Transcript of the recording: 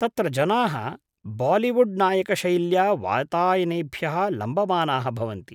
तत्र जनाः बालिवुड् नायकशैल्या वातायनेभ्यः लम्बमानाः भवन्ति।